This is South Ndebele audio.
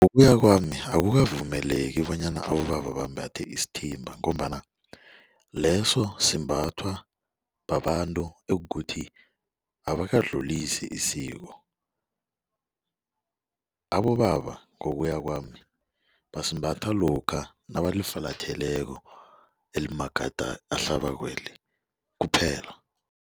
Ngokuya kwami akukavumeleki bonyana abobaba bambathe isithimba ngombana leso simbathwa babantu ekuthi abakadlulisi isiko. Abobaba ngokuya kwami basembatha lokha nabalifulatheleko elimagade ahlabako kwaphela.